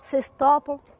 Vocês topam?